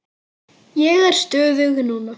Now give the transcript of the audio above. Ég er stöðug núna.